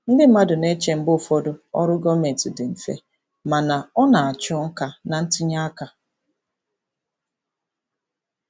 Ndị mmadụ na-eche mgbe ụfọdụ ọrụ gọọmentị dị mfe, mana ọ na-achọ nka na ntinye aka.